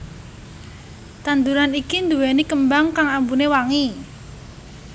Tanduran iki duwéni kembang kang ambune wangi